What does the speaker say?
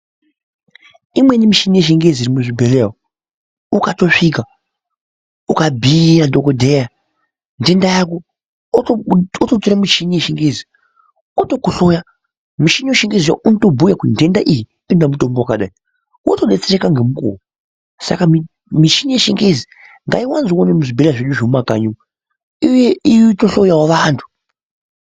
Imweni mushini yechingezi irimo muzvibhehleya ukatosvika ukabhiira dhokoteya ndenda yako ototora muchini yechingezi otokuhloya okokubuira kuti ndenda iyi inoda mushonga yakadai wotodetsereka nemukuwo saka muchini yechingezi ngaiwanzwewo nemuzvibhehlera zvedu zvemumakanyi iuye itohloyawo vantu.